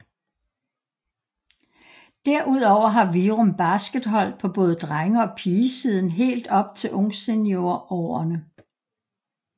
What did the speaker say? Derudover har Virum Basket hold på både drenge og pige siden helt op til ungsenior årene